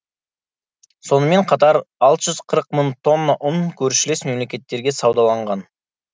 сонымен қатар алты жүз қырық мың тонна ұн көршілес мемлекеттерге саудаланған